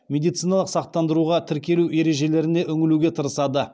медициналық сақтандыруға тіркелу ережелеріне үңілуге тырысады